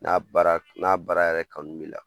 N'a baara k n'a baara yɛrɛ kanu b'i la